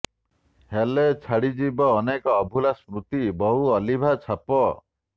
ହେଲେ ଛାଡ଼ି ଯିବ ଅନେକ ଅଭୁଲା ସ୍ମୁତି ବହୁ ଅଲିଭା ଛାପ